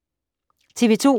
TV 2